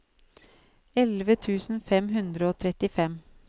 elleve tusen fem hundre og trettifem